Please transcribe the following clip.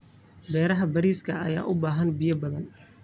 Beeraha bariiska ayaa u baahan biyo badan.